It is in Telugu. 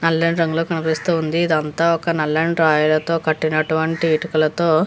నలని రంగులో కనిపిస్తుంది. ఇది అంతా ఒక్క నలని రాళ్లతో కట్టినటువంటి ఇటుకలతో --